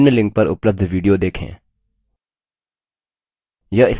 निम्न link पर उपलब्ध video देखें